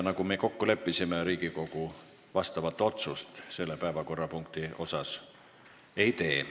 Nagu juba öeldud, Riigikogu otsust selle päevakorrapunkti puhul ei tee.